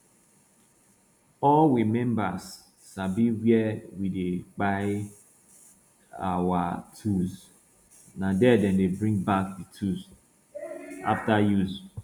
all we members sabi where we dey kpai our tools na there dem dey bring back the tools after use